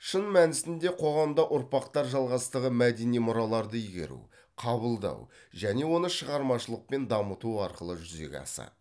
шын мәнісінде қоғамда ұрпақтар жалғастығы мәдени мұраларды игеру қабылдау және оны шығармашылықпен дамыту арқылы жүзеге асады